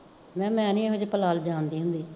ਮਹਾਂ ਮੈਂ ਨੀ ਏਹੋ ਜੇ ਪਲਾਲ ਜਾਣਦੀ ਹੁੰਦੀ